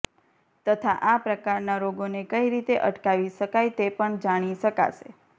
તથા આ પ્રકારનાં રોગોને કઈ રીતે અટકાવી શકાય તે પણ જાણી શકાશે